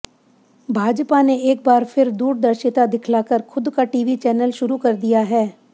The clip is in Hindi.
भाजपा ने एक बार फिर दूरदर्शिता दिखलाकर खुद का टीवी चैनल शुरू कर दिया है